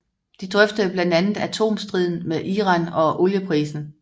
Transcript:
De drøftede blandt andet atomstriden med Iran og olieprisen